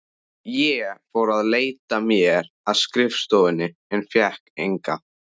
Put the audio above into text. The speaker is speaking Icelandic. Ég fór að leita mér að skrifstofuvinnu en fékk enga.